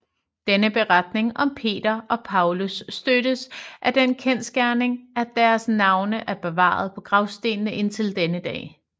Denne beretning om Peter og Paulus støttes af den kendsgerning at deres navne er bevaret på gravstederne indtil denne dag